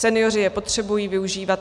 Senioři je potřebují využívat.